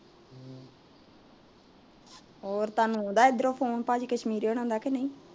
ਹੋਰ ਤੁਹਾਨੂੰ ਆਉਂਦਾ ਏਧਰੋਂ ਫ਼ੋਨ ਭਾਜੀ ਕਸ਼ਮੀਰੇ ਹੁਣਾ ਦਾ ਕੇ ਨਹੀਂ